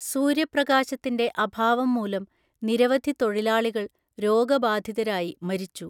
സൂര്യപ്രകാശത്തിന്റെ അഭാവം മൂലം നിരവധി തൊഴിലാളികൾ രോഗബാധിതരായി മരിച്ചു.